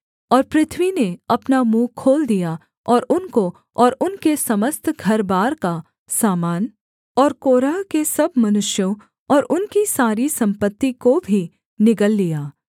और पृथ्वी ने अपना मुँह खोल दिया और उनको और उनके समस्त घरबार का सामान और कोरह के सब मनुष्यों और उनकी सारी सम्पत्ति को भी निगल लिया